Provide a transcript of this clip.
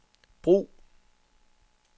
brug